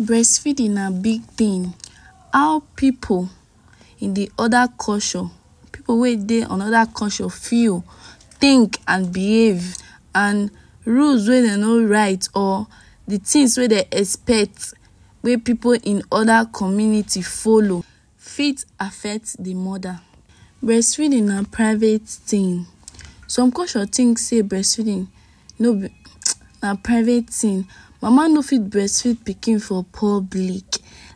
Breastfeeding na big thing, how pipu in d oda culture, pipu wey dey anoda culture feel think and behave and rules wey dem no write or d tins wey dem expect wey pipu in oda community follow fit affect d mother. Breast feeding na private thing, some culture think sey breastfeeding no be na private thing, mama no fit breastfeed pikin for public,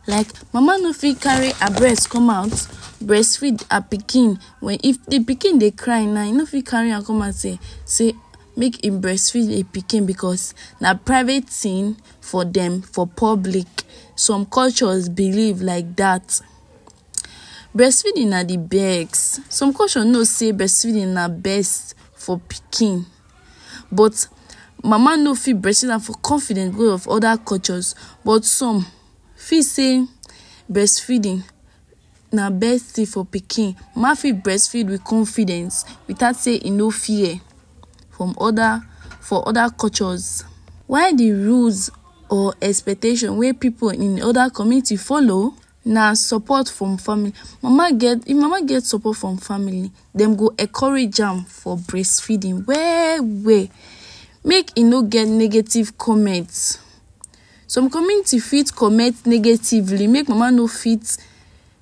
like mama no fit carry her breast come out breastfeed her pikin, if d pikin dey carry now u no fit carry am come outside sey make hin breastfeed d pikin because na private thing for dem, for public, some cultures believe like dat. Breastfeeding na d best, some culture no sey breastfeeding na best for pikin but mama no fit breastfeed am for confident because of oda cultures, but some fit sey breastfeeding na best thing for pikin, mama fit breastfeed with confidence without sey e no fear from oda for oda cultures. Why d rules or expectation wey pipu in oda community follow na support from family, mama get if mama get support from family dem go encourage am for breast feeding well well, make e no get negative comment, some community fit comment negatively make mama no fit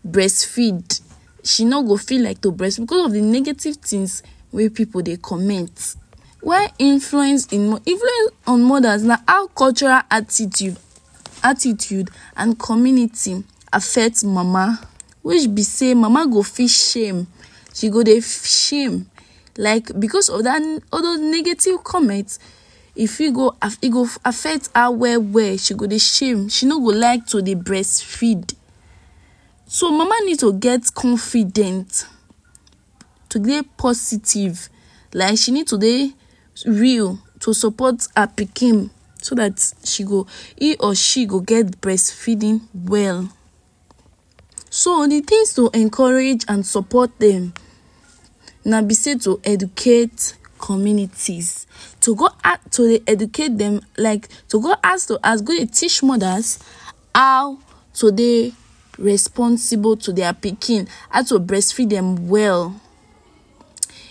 breastfeed she no go fit like to breastfeed because of d negative things wey pipu dey comment. why influence in influence on mothers na how cultural attitude attitude and community affect mama, which b sey mama go fit shame, she go dey shame, like because of dat all those negative comments e fit go affect her well well, she go dey shame, she no go like to dey breastfeed so mama need to get confident to dey positive, like she need to dey real to support her pikin so dat she go he or she go get breastfeeding well, so d things to encourage and support dem na b sey to educate communities, to go out to dey educate dem, like to go house to house to go dey teach mothers how to dey responsible to dia pikin, how to breastfeed dem well,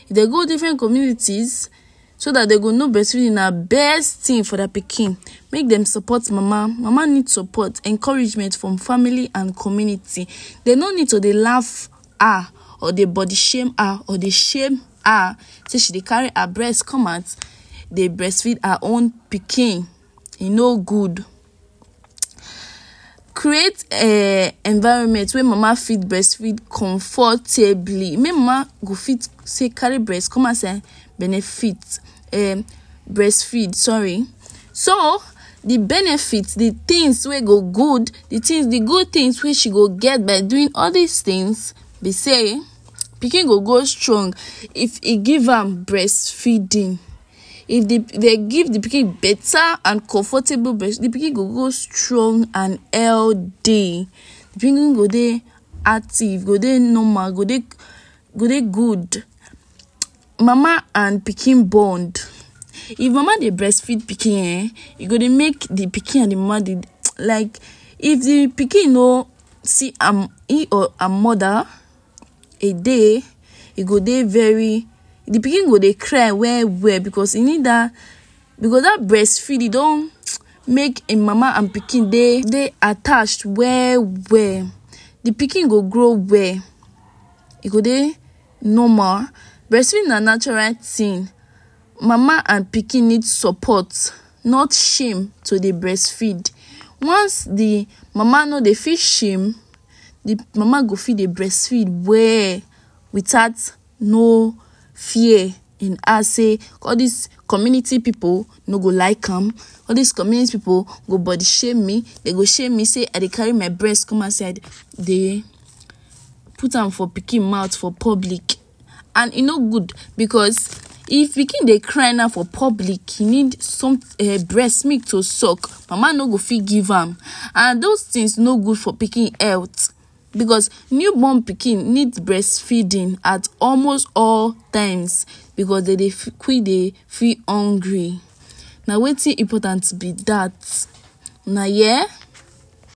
if dem go different communities so dat dem go know brestfeeding na best thing for dia pikin make dem support mama, mama need support, encouragement from family and community, dem no need to dey laugh her or dey body shame her, or to dey shame her sey she dey carry her breast comeout dey breastfeed her own pikin, e no good, create um environment wey mama fit breastfeed comfortably wey mama go fit say carry breast come outside benefit um breastfeed sorry, so d benefits d tins wey go good, d tins d good things wey she go get by doing all dis things b sey, pikin go grow strong if e give am breastfeeding, if dem give d pikin better and comfortable breast, d pikin go grow strong and healthy, d pikin go dey active, go dey normal, go dey good, mama and pikin bond, if mama dey breast feed pikin ehn, e go dey make d pikin and d mama like if d pikin no see am he or her mother a day e go dey very, d pikin go dey cry well well because e need dat, because dat breastfeeding don make im mama and pikin dey attached well well, d pikin go grow well, e go dey normal, breastfeeding na natural thing mama and pikin need support not shame to dey breastfeed, once d mama no dey feel shame d mama go fit dey breastfeed well, without no fear in her sey all dis community pipu no go like am, all dis community pipu go body shame me, dey go shame me sey I dey carry my breast commot outside dey put am for pikin mouth for public, and e no good because if pikin dey cry now for public, he need breast milk to sulk, mama no go fit give am, and those things no good for pikin health, because newborn pikin need breast feeding at almost all times, because dem dey quick dey feel hungry, na wetin important b dat, una hear.